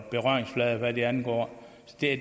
berøringsflade hvad det angår